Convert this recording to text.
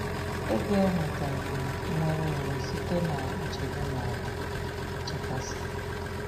Ego ewetaghị nnwere onwe site na nchegbu ma ọ bụ nchekasị.”